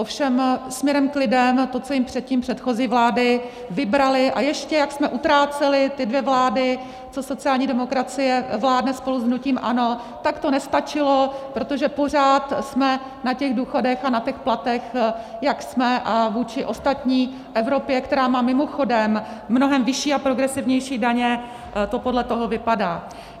Ovšem směrem k lidem, to, co jim předtím předchozí vlády vybraly, a ještě jak jsme utrácely, ty dvě vlády, co sociální demokracie vládne spolu s hnutím ANO, tak to nestačilo, protože pořád jsme na těch důchodech a na těch platech, jak jsme, a vůči ostatní v Evropě, která má mimochodem mnohem vyšší a progresivnější daně, to podle toho vypadá.